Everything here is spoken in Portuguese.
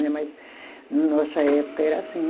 Né mas na nossa época era assim.